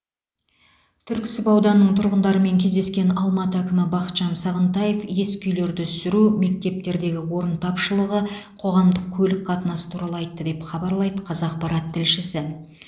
түрксіб ауданының тұрғындарымен кездескен алматы әкімі бақытжан сағынтаев ескі үйлерді сүру мектептердегі орын тапшылығы қоғамдық көлік қатынасы туралы айтты деп хабарлайды қазақпарат тілшісі